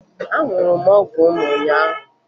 Aṅụrụ m ọgwụ m ụnyaahụ